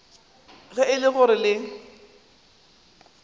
ge e le gore le